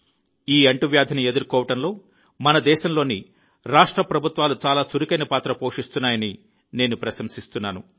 ఈ అంటువ్యాధిని ఎదుర్కోవడంలో మన దేశంలోని రాష్ట్ర ప్రభుత్వాలు చాలా చురుకైన పాత్ర పోషిస్తున్నాయని నేను ప్రశంసిస్తున్నాను